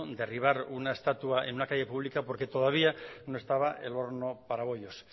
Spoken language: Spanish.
derribar una estatua en una calle pública porque todavía no estaba el horno para bollos